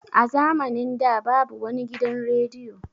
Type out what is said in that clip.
A zamanin da babu wani gidan rediyo.